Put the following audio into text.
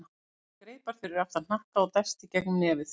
Hann spennti greipar fyrir aftan hnakka og dæsti í gegnum nefið.